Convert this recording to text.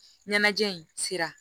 Ɲɛnajɛ in sera